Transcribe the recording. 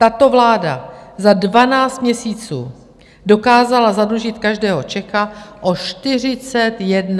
Tato vláda za dvanáct měsíců dokázala zadlužit každého Čecha o 41 000 korun.